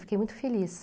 Fiquei muito feliz.